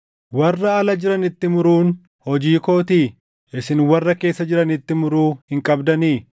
Warra ala jiranitti muruun hojii kootii? Isin warra keessa jiranitti muruu hin qabdanii?